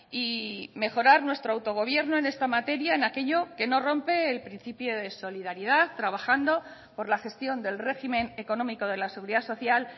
y mejorar nuestro autogobierno en esta materia en aquello que no rompe el principio de solidaridad trabajando por la gestión del régimen económico de la seguridad social